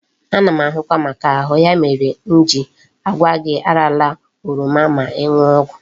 Ana m ahụkwa maka ahu, ya mere m ji agwa gi arala oroma ma iñu ogwu